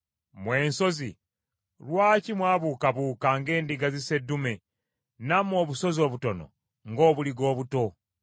Mmwe ensozi, lwaki mwabuukabuuka ng’endiga zisseddume, nammwe obusozi obutono ng’obuliga obuto?